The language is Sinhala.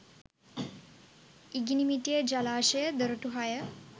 ඉඟිණිමිටිය ජලාශය දොරටු හය